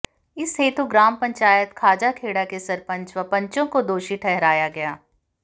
इस हेतु ग्राम पंचायत खाजाखेड़ा के सरपंच व पंचों को दोषी ठहराया गया